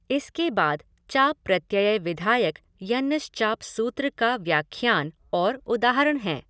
इसके बाद चाप् प्रत्यय विधायक यंगश्चाप् सूत्र का व्याख्यान और उदाहरण हैं।